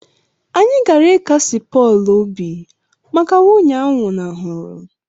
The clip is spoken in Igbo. Anyị gara ịkasi Pọl obi mgbe nwunye a nwụnahụrụ